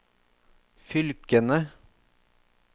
fylkene